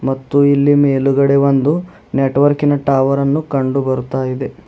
ಮತ್ತು ಇಲ್ಲಿ ಮೇಲುಗಡೆ ಒಂದು ನೆಟ್ವರ್ಕಿನ ಟವರನ್ನು ಕಂಡು ಬರ್ತಾ ಇದೆ.